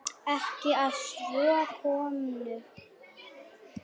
Ekki að svo komnu.